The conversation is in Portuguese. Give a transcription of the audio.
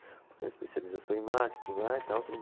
Vou fazer uma especialização em marketing lá e tal.